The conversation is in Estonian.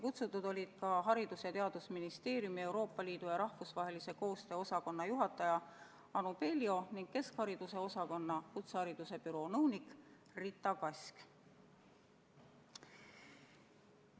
Kutsutud olid ka Haridus- ja Teadusministeeriumi Euroopa Liidu ja rahvusvahelise koostöö osakonna juhataja Anu Peljo ning keskhariduse osakonna kutsehariduse büroo nõunik Rita Kask.